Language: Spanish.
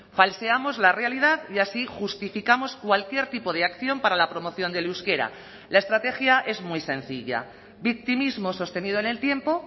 falseamos la realidad y así justificamos cualquier tipo de acción para la promoción del euskera la estrategia es muy sencilla victimismo sostenido en el tiempo